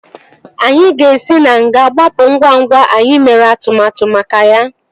Anyị ga-esi na nga gbapụ ngwa ngwa anyị mere atụmatụ maka ya